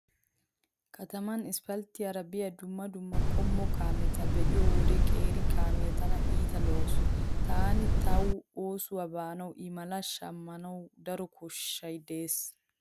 Kataman isppalttiyara biya dumma dumma qommo kaameta be'iyo wode qeeri kaamiya tana iita lo'awusu. Taani tawu oosuwa baanawu i maliyo shammanawu daro koshshay dees.